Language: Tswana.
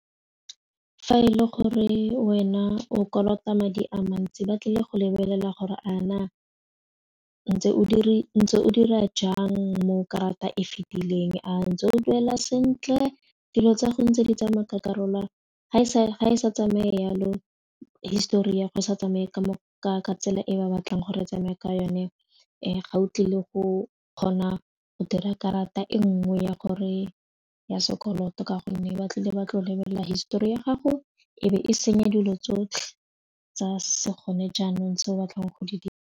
Fa e le gore wena o kolota madi a mantsi ba tlile go lebelela gore a na o ntse o dira jang mo karata e fitileng a ntse o duela sentle dilo tsa go ntse di tsamaya ka karolo ga e sa tsamaye yalo histori ya go sa tsamaye ka tsela e ba batlang gore tsamaya ka yone ga o tlile go kgona go dira karata e nngwe ya gore ya sekoloto ka gonne ba tlile ba tlo lebelela histori ya gago e be e senya dilo tsotlhe tsa se gone jaanong se o batlang go di dira.